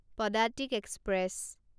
Padatik express